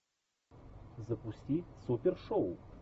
запусти супершоу